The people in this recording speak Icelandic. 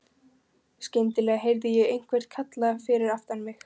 Skyndilega heyrði ég einhvern kalla fyrir aftan mig.